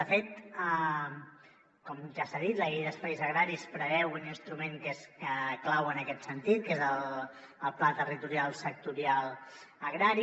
de fet com ja s’ha dit la llei d’espais agraris preveu un instrument que és clau en aquest sentit que és el pla territorial sectorial agrari